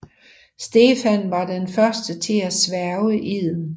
Stefan var den første til at sværge eden